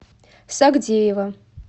сагдеева